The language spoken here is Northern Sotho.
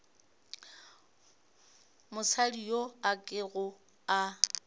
mosadi yo a kego a